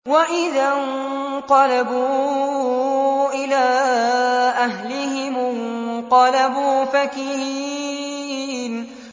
وَإِذَا انقَلَبُوا إِلَىٰ أَهْلِهِمُ انقَلَبُوا فَكِهِينَ